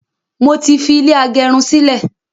mọ tí fi ilé agerun sí lẹ.